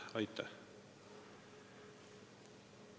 Aitäh!